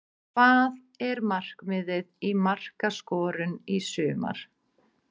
Hvað er markmiðið í markaskorun í sumar?